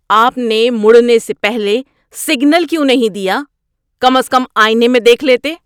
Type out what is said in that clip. آپ نے مڑنے سے پہلے سگنل کیوں نہیں دیا؟ کم از کم آئینے میں دیکھ لیتے۔